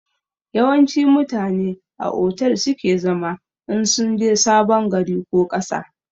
Yawanci mutane a otel su ke zama in sunje sabon gari ko ƙasa